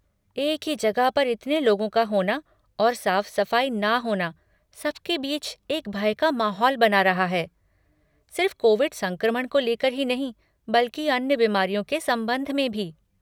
एक ही जगह पर इतने लोगों का होना और साफ़ सफ़ाई ना होना सब के बीच एक भय का माहौल बना रहा है, सिर्फ़ कोविड संक्रमण को लेकर ही नहीं बल्कि अन्य बीमारियों के संबंध में भी।